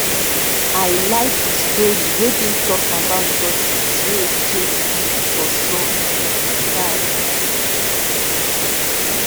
i like de story wey been talk about tortoise wey exchange seed for sun with de sky